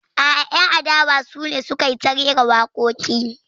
A'a, 'yan adawa su ne suka yi ta rera waƙoƙi.